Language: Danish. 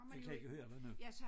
Jeg kan ikke høre dig nu